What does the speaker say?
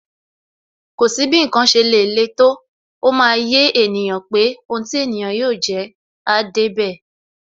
Kò sí bí ǹkan ṣe lè le tó, ó máa yé ènìyàn pé Ohun ti ènìyàn yóò jẹ́, áá débẹ̀.